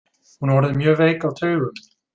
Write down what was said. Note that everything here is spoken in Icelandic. Hún er orðin mjög veik á taugum.